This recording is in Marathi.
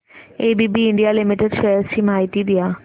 एबीबी इंडिया लिमिटेड शेअर्स ची माहिती द्या